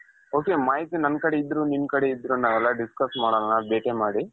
ok ಮಾಹಿತಿ ನನ್ ಕಡೆ ಇದ್ರೂ ನಿಮ್ ಕಡೆ ಇದ್ರೂ ನಾವೆಲ್ಲ discuss ಮಾಡಣ ಭೇಟಿ ಮಾಡಿ .